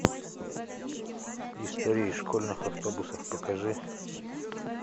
истории из школьных автобусов покажи